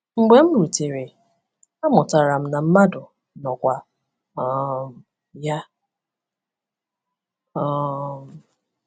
Mgbe m rutere, amụtara m na Madu nọkwa um ya. um